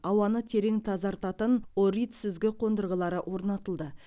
ауаны терең тазартатын орит сүзгі қондырғылары орнатылды